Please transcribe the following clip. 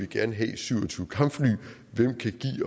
gerne have syv og tyve kampfly